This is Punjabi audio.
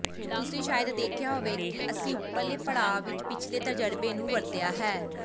ਤੁਸੀਂ ਸ਼ਾਇਦ ਦੇਖਿਆ ਹੋਵੇ ਕਿ ਅਸੀਂ ਉੱਪਰਲੇ ਪੜਾਅ ਵਿੱਚ ਪਿਛਲੇ ਤਜਰਬੇ ਨੂੰ ਵਰਤਿਆ ਹੈ